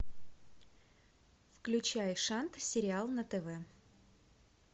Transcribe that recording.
включай шант сериал на тв